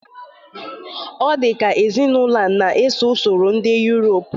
Ọ dịka ezinaụlọ a na-eso usoro ndị Yurop